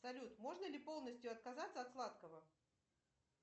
салют можно ли полностью отказаться от сладкого